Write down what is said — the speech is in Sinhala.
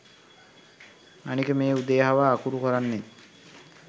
අනික මේ උදේ හවා අකුරු කරන්නෙත්